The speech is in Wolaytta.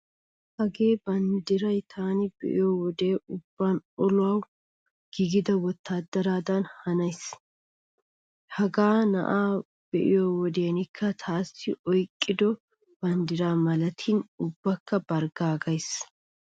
Hagee banddiray taani be'iyo wodiyan ubban olawu giigida wottaadaradan hanees. Hagaa na'aa be'iyo wodekka taassi oyqqido banddira malatidi ubbakka barggaagissees.